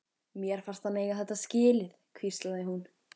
Mér fannst hann eiga þetta skilið- hvíslaði hún.